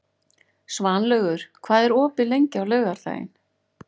Svanlaugur, hvað er opið lengi á laugardaginn?